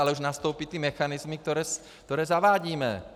Ale už nastoupí ty mechanismy, které zavádíme.